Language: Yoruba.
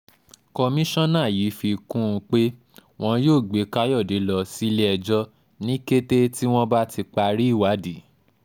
kọmíṣánná yìí fi kún un pé wọn yóò gbé káyọ̀dé lọ sílé-ẹjọ́ ní kété tí wọ́n bá ti parí ìwádìí